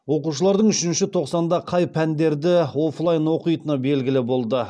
оқушылардың үшінші тоқсанда қай пәндерді оффлайн оқитыны белгілі болды